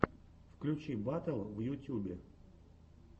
включи батл в ютюбе